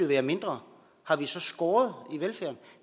være mindre har vi så skåret